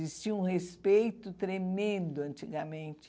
Existia um respeito tremendo antigamente.